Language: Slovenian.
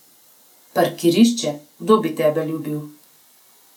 Parkirišče, kdo bi tebe ljubil?